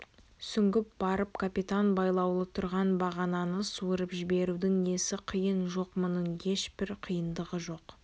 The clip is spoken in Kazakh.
сүңгіп барып капитан байлаулы тұрған бағананы суырып жіберудің несі қиын жоқ мұның ешбір қиындығы жоқ